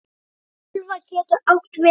Örtölva getur átt við um